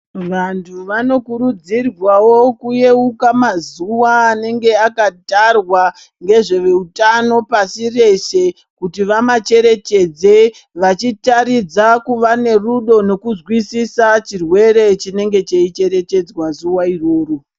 Vantu vanokurudzirwawo kuyeka mazuwa anenge akatarwa ngezveutano pashi reshe kuti vamacherechedze vachitaridza kuva nerudo nekuzwisisa chirwere chinenge cheicherechedzwa zuwa iroro.